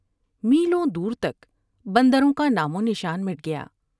میلوں دور تک بندروں کا نام ونشان مٹ گیا ۔